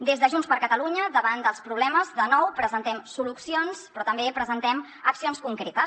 des de junts per catalunya davant dels problemes de nou presentem solucions però també presentem accions concretes